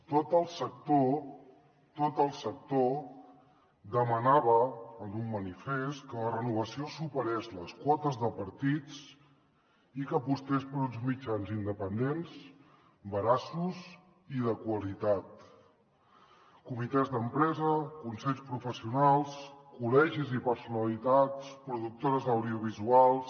tot el sector tot el sector demanava en un manifest que la renovació superés les quotes de partits i que apostés per uns mitjans independents veraços i de qualitat comitès d’empresa consells professionals col·legis i personalitats productores audiovisuals